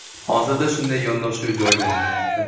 Hozirda shunday yondashuv jonlanyapti.